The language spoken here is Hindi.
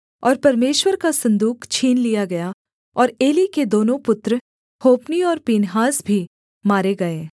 और परमेश्वर का सन्दूक छीन लिया गया और एली के दोनों पुत्र होप्नी और पीनहास भी मारे गए